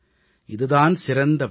இது தான் சிறந்த வழி